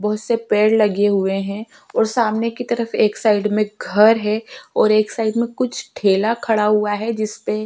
बहुत से पेड़ लगे हुए हैं और सामने की तरफ एक साइड में घर है और एक साइड में कुछ ठेला खड़ा हुआ है जिस में --